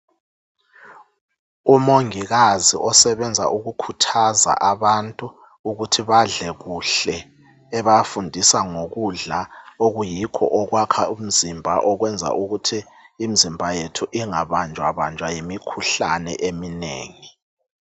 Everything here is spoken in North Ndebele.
umongikazi osebenza ngokukhuthaza abantu ukuthi badle kahle ebafundisa ngokudla okuyikho okwakha umzimba okwenza ukuthi imizimba yethu ingabanja banja yimikhuhlane eminengi.